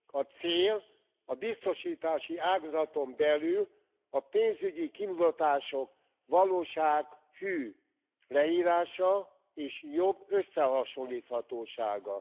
A cél a biztosítási ágazaton belül, a pénzügyi kimutatások valósághű leírása, és jobb összehasonlíthatósága.